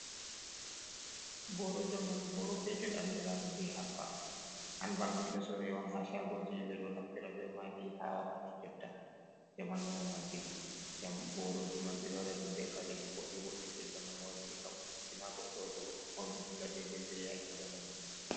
Boro zamanu boro petel andira ɗum be han bak, han bak ni ɗo sore on ha shagoji ɓe ɗo naftira be maɗi ha wakkati jotta zamanu on waddi ɗum. Boroji man ɓeɗo waɗa ɗum be kareji boɗɗi boɗɗe je zamanu waddi ngam burtina goɗɗo to fauni dilla dei dei yake zamanu mako.